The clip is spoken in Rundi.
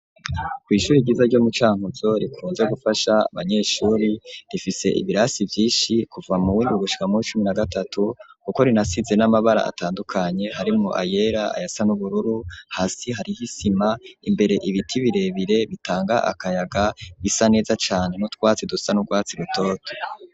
Kw'ishure ryiza ryo mu Cankuzo rikunze gufasha abanyeshure, rifise ibirasi vyinshi kuva muw'indwi gushika muw'icumi na gatatu, kuko rinasize n'amabara atandukanye, harimwo ayera ayasa n'ubururu, hasi hariho isima, imbere ibiti birebire bitanga akayaga bisa neza cane n'utwatsi dusa n'urwatsi rutoto.